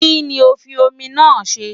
Kí ni o fi omi náà ṣe?